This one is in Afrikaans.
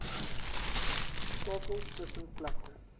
skakels tussen plekke